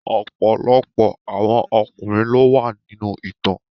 Ọ̀pọ̀lọpọ̀ àwọn ọkùnrin ló wà nínú ìtàn.